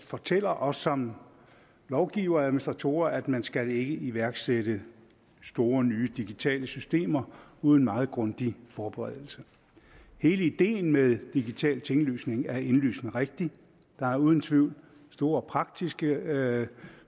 fortæller os som lovgivere og administratorer at man ikke skal iværksætte store nye digitale systemer uden meget grundig forberedelse hele ideen med digital tinglysning er indlysende rigtig der er uden tvivl store praktiske